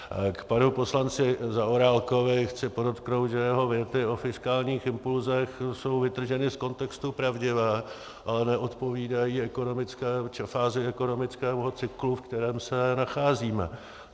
K panu poslanci Zaorálkovi chci podotknout, že jeho věty o fiskálních impulzech jsou vytrženy z kontextu pravdivé, ale neodpovídají fázi ekonomického cyklu, v kterém se nacházíme.